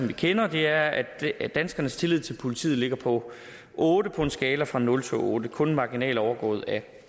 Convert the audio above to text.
vi kender det er at at danskernes tillid til politiet ligger på otte på en skala fra nul til otte kun marginalt overgået af